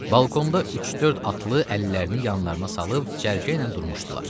Balkonda üç-dörd atlı əllərini yanlarına salıb cərgə ilə durmuşdular.